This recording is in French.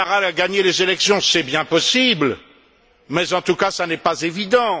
Ouattara a gagné les élections, c'est bien possible, mais, en tout cas, ce n'est pas évident!